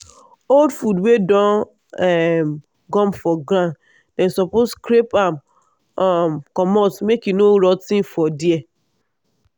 old food wey don um gum for ground dem suppose scrape am um commot make e no rot ten for there